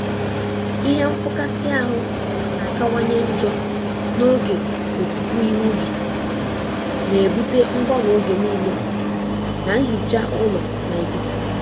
Ihe nfụkasị ahụ na-akawanye njọ n'oge opupu ihe ubi, na-ebute mgbanwe oge niile na nhicha ụlọ na ikuku.